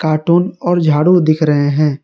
Cartoon और झाडू दिख रहे हैं।